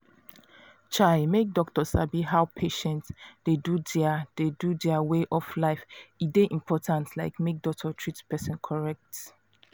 chai make doctor sabi how patient dey do their dey do their way of life e dey important like make doctor treat person correct.